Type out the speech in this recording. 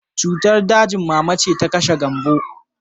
Cutar dajin mama ce ta kashe Gambo